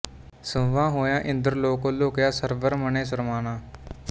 ਸੁੰਞਾ ਹੋਆ ਇੰਦ੍ਰ ਲੋਕ ਲੁਕਿਆ ਸਰਵਰ ਮਨਿ ਸਰਮਾਣਾ